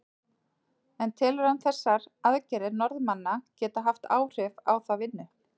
En telur hann þessar aðgerðir Norðmanna geta haft áhrif á þá vinnu?